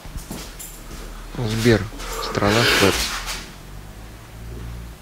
сбер страна швеппс